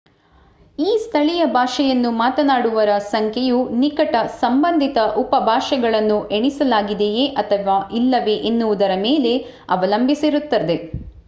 ಈ ಸ್ಥಳೀಯ ಭಾಷೆಯನ್ನು ಮಾತನಾಡುವವರ ಸಂಖ್ಯೆಯು ನಿಕಟ ಸಂಬಂಧಿತ ಉಪಭಾಷೆಗಳನ್ನು ಎಣಿಸಲಾಗಿದೆಯೆ ಅಥವಾ ಇಲ್ಲವೇ ಎನ್ನುವುದರ ಮೇಲೆ ಅವಲಂಬಿಸಿರುತ್ತದೆ